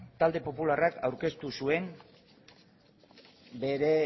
talde popularrak aurkeztu zuen bere